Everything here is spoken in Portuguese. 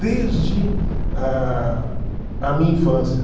desde a a minha infância.